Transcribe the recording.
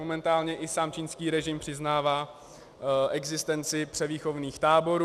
Momentálně i sám čínský režim přiznává existenci převýchovných táborů.